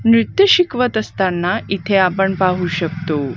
नीट शिकवत असताना इथे आपण पाहू शकतो.